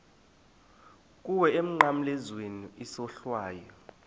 kuwe emnqamlezweni isohlwayo